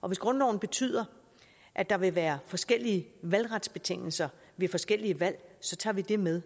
og hvis grundloven betyder at der vil være forskellige valgretsbetingelser ved forskellige valg så tager vi det med